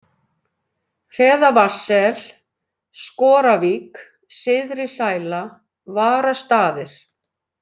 Hreðavatnssel, Skoravík, Syðrisæla, Varastaðir